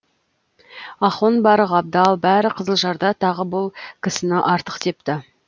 ахон бар ғабдал бәрі қызылжарда тағы бұл кісіні артық депті